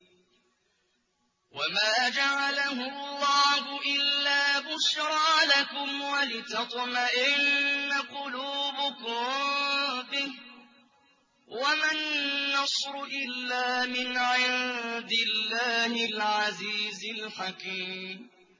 وَمَا جَعَلَهُ اللَّهُ إِلَّا بُشْرَىٰ لَكُمْ وَلِتَطْمَئِنَّ قُلُوبُكُم بِهِ ۗ وَمَا النَّصْرُ إِلَّا مِنْ عِندِ اللَّهِ الْعَزِيزِ الْحَكِيمِ